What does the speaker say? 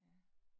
Ja